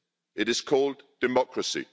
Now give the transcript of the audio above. It is called democracy.